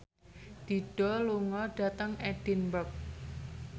Dido lunga dhateng Edinburgh